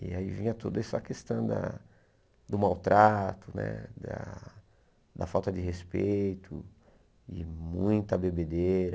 E aí vinha toda essa questão da do maltrato né, da da falta de respeito e muita bebedeira.